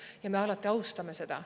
Ja me alati austame seda.